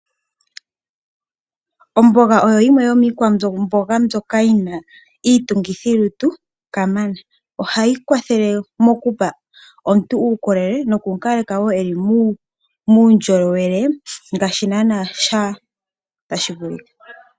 Omboga oyo yimwe yomiikwamboga mbyoka yina iitungithi lutu kamana. Ohayi kwathele okupa omuntu uukolele noku mu kaleka a kale muundjolowele ngaashi naanaa tashi vulika.